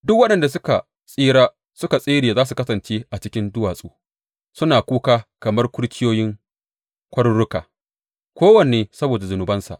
Duk waɗanda suka tsira suka tsere za su kasance a cikin duwatsu, suna kuka kamar kurciyoyin kwaruruka, kowanne saboda zunubansa.